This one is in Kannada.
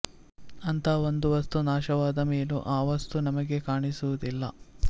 ಅಂಥಾ ಒಂದು ವಸ್ತು ನಾಶವಾದ ಮೇಲೂ ಆ ವಸ್ತು ನಮಗೆ ಕಾಣಿಸುವುದಿಲ್ಲ